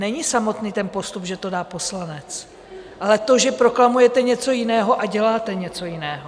Není samotný ten postup, že to dá poslanec, ale to, že proklamujete něco jiného a děláte něco jiného.